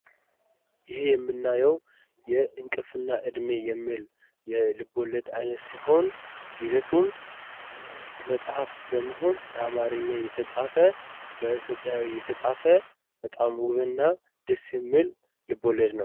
ይሄ የምናየው የእንቅልፍና እድሜ የሚል የልቦለድ አይነት ሲሆን ይዘቱም መጽሃፍ በመሆን በአማርኛ የተፃፈ በኢትዮጵያዊ የተፃፈ በጣም ውብና ደስ የሚል ልቦለድ ነው ።